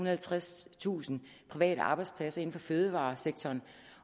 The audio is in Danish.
og halvtredstusind private arbejdspladser inden for fødevaresektoren